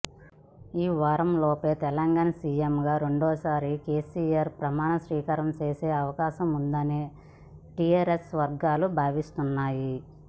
ఈవారంలోపే తెలంగాణ సీఎంగా రెండవసారి కేసీఆర్ ప్రమాణస్వీకారం చేసే అవకాశముందని టీఆరెస్ వర్గాలు భావిస్తున్నాయి